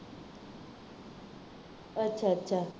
ਅੱਛਾ ਅੱਛਾ